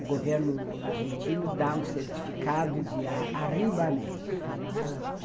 O governo argentino dá um certificado de arriba América.